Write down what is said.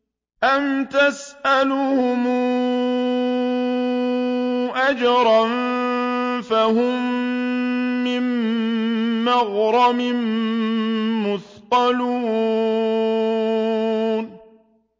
أَمْ تَسْأَلُهُمْ أَجْرًا فَهُم مِّن مَّغْرَمٍ مُّثْقَلُونَ